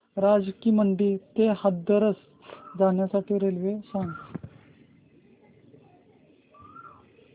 राजा की मंडी ते हाथरस जाण्यासाठी रेल्वे सांग